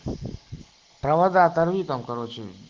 провокаторы там короче